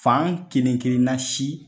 Fan kelen kelenna si